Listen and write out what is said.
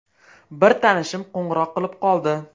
Bir tanishim qo‘ng‘iroq qilib qoldi.